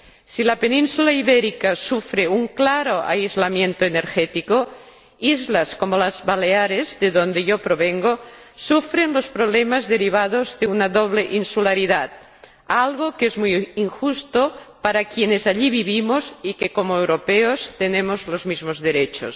Si la Península Ibérica sufre un claro aislamiento energético, islas como las Baleares, de donde yo provengo, sufren los problemas derivados de una doble insularidad, algo que es muy injusto para quienes allí vivimos y que, como europeos, tenemos los mismos derechos.